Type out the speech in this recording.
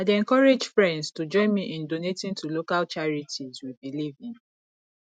i dey encourage friends to join me in donating to local charities we believe in